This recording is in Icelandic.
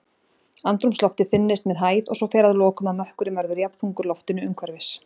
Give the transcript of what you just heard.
Andrúmsloftið þynnist með hæð, og svo fer að lokum að mökkurinn verður jafnþungur loftinu umhverfis.